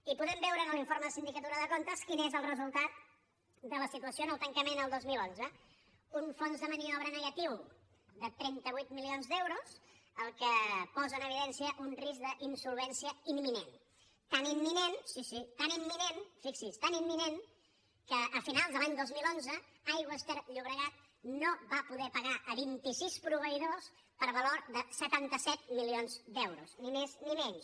i podem veure en l’informe de sindicatura de comptes quin és el resultat de la situació en el tancament el dos mil onze un fons de maniobra negatiu de trenta vuit milions d’euros que posa en evidència un risc d’insolvència imminent tan imminent sí sí fixi’s tan imminent que a finals de l’any dos mil onze aigües ter llobregat no va poder pagar a vint i sis proveïdors per valor de setanta set milions d’euros ni més ni menys